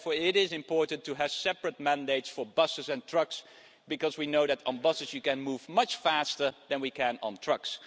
Therefore it is important to have separate mandates for buses and trucks because we know that on buses we can move much faster we can than on trucks.